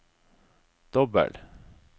dobbel